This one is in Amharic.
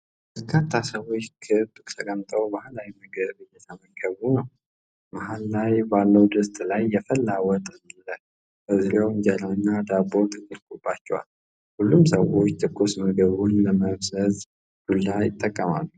በርካታ ሰዎች በክብ ተቀምጠው ባህላዊ ምግብ እየተመገቡ ነው። መሀል ላይ ባለው ድስት ላይ የፈላ ወጥ አለ፣ በዙሪያው እንጀራ እና ዳቦ ተደርጎባቸዋል። ሁሉም ሰዎች ትኩስ ምግቡን ለመምዘዝ ዱላ ይጠቀማሉ።